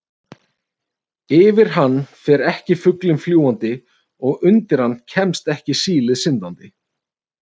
Yfir hann fer ekki fuglinn fljúgandi og undir hann kemst ekki sílið syndandi.